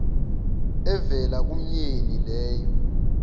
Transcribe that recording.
evela kumyeni leyo